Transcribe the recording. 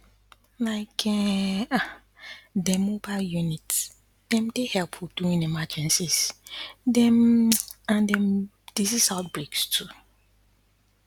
like um dem mobile units dem dey helpful during emergencies dem um and um disease outbreaks too to